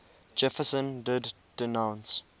jefferson did denounce